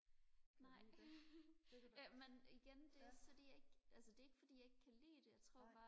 nej jamen igen det er ikke fordi jeg ikke altså det er ikke fordi jeg ikke kan lide det jeg tror bare